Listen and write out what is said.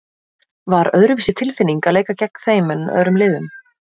Var öðruvísi tilfinning að leika gegn þeim en öðrum liðum?